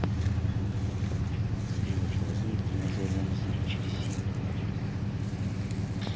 сделать холоднее в тренажерном зале через семь минут